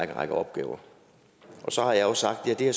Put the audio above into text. en række opgaver så har jeg sagt at det